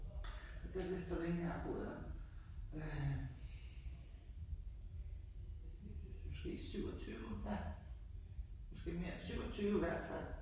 Gad vidst hvor længe jeg har boet der. Øh måske 27 en halv. Måske mere. 27 hvert fald